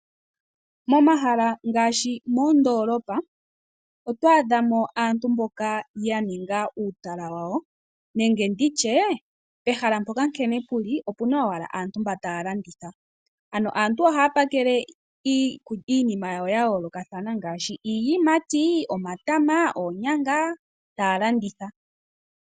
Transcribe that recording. Momahala ngaashi moondolopa otwaadhamo aantu mboka ya ninga uutala wawo nenge ndi tye pehala mpoka nkene pu li opu na owala aantu mba taya landitha ano aantu ohaya pakeke iinima yawo ya yoolokathana ngaashi iiyimati, omatama noonyanga taya landitha.